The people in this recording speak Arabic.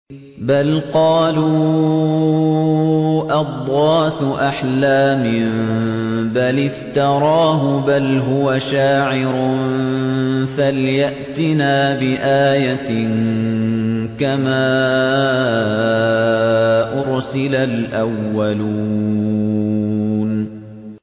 بَلْ قَالُوا أَضْغَاثُ أَحْلَامٍ بَلِ افْتَرَاهُ بَلْ هُوَ شَاعِرٌ فَلْيَأْتِنَا بِآيَةٍ كَمَا أُرْسِلَ الْأَوَّلُونَ